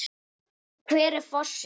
Hver er fossinn?